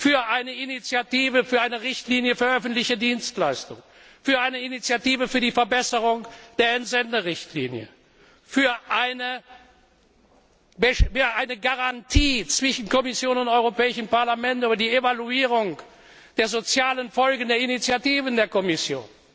für eine Initiative für eine Richtlinie für öffentliche Dienstleistungen, für eine Initiative zur Verbesserung der Entsenderichtlinie, für eine Garantie zwischen Kommission und Europäischem Parlament über die Evaluierung der sozialen Folgen der Initiativen der Kommission.